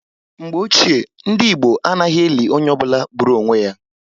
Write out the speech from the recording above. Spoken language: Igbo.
Mgbe Ochié, ndị Igbo anaghị eli onye ọ bụla gburu onwe ya